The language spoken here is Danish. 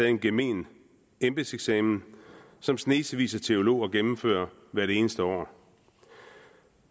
en gemen embedseksamen som snesevis af teologer gennemfører hvert eneste år